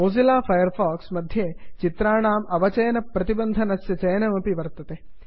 Mozilla Firefox मध्ये चित्राणाम् अवचयनप्रतिबन्धनस्य चयनमपि वर्तते